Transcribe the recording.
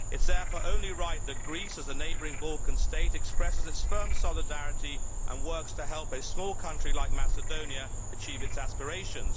It is therefore only right that Greece, as a neighbouring Balkan state, expresses its firm solidarity and works to help a small country like Macedonia to achieve its aspirations.